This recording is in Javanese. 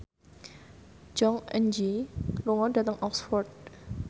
Jong Eun Ji lunga dhateng Oxford